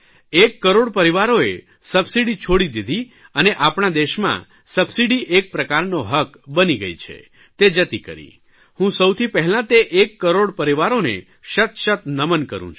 એક કરોડ પરિવારઓએ સબસીડી છોડી દીધી અને આપણા દેશમાં સબસીડી એક પ્રકારનો હક્ક બની ગઇ છે તે જતી કરી હું સૌથી પહેલાં તે એક કરોડ પરિવારોને શત શત નમન કરૂં છું